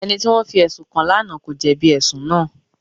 Ẹni tí wọ́n fi ẹ̀sùn kàn lánàá kò jẹ̀bi ẹ̀sùn náà.